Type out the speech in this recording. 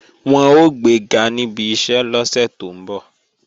Wọn ó gbega níbi iṣẹ́ lọ́sẹ̀ tó ń bọ̀